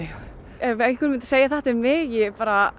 ef einhver myndi segja þetta um mig ég bara